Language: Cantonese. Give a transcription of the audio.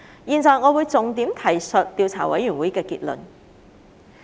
現在我會重點提述調查委員會的結論。